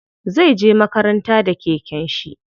Zai je makaranta da keken shi.